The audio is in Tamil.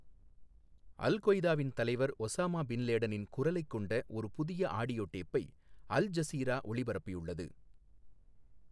அல் கொய்தாவின் தலைவர் ஒசாமா பின் லேடனின் குரலைக் கொண்ட ஒரு புதிய ஆடியோ டேப்பை அல்ஜசீரா ஒளிபரப்பியுள்ளது.